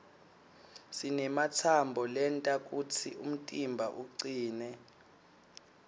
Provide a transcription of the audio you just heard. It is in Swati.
sinematsambo lenta kutsi umtimba ucine